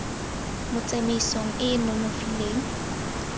mo tsamaisong e e nonofileng